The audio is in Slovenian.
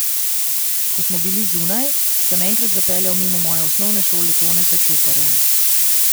Ko smo bili zunaj, sem enkrat zapeljal mimo moje osnovne šole Toneta Čufarja.